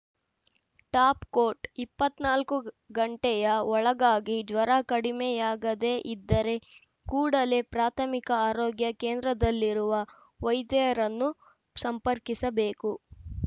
topcoat ಇಪ್ಪತ್ತ್ ನಾಲ್ಕು ಗಂಟೆಯ ಒಳಗಾಗಿ ಜ್ವರ ಕಡಿಮೆಯಾಗದೆ ಇದ್ದರೆ ಕೂಡಲೇ ಪ್ರಾಥಮಿಕ ಆರೋಗ್ಯ ಕೇಂದ್ರದಲ್ಲಿರುವ ವೈದ್ಯರನ್ನು ಸಂಪರ್ಕಿಸಬೇಕು